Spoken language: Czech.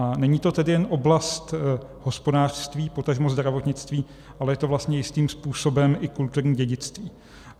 A není to tedy jen oblast hospodářství, potažmo zdravotnictví, ale je to vlastně jistým způsobem i kulturní dědictví.